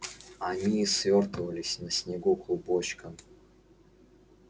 они свёртывались на снегу клубочком